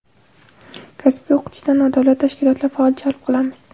Kasbga o‘qitishda nodavlat tashkilotlar faol jalb qilamiz.